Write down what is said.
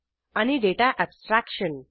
आणि data abstraction